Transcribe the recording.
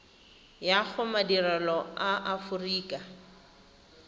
ya go madirelo a aforika